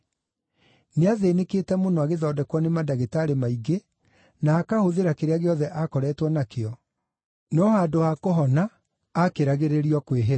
Nĩathĩĩnĩkĩte mũno agĩthondekwo nĩ mandagĩtarĩ aingĩ, na akahũthĩra kĩrĩa gĩothe aakoretwo nakĩo, no handũ ha kũhona aakĩragĩrĩria o kwĩhĩrwo.